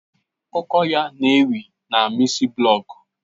Akuko ya n'ewi na mciiblog